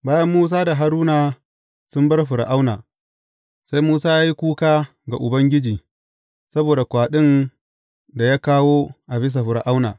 Bayan Musa da Haruna sun bar Fir’auna, Sai Musa ya yi kuka ga Ubangiji saboda kwaɗin da ya kawo a bisa Fir’auna.